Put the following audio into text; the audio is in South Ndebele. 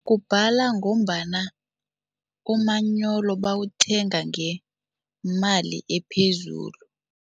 Kubhala ngombana umanyolo bawuthenga ngemali ephezulu.